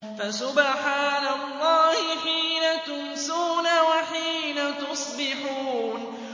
فَسُبْحَانَ اللَّهِ حِينَ تُمْسُونَ وَحِينَ تُصْبِحُونَ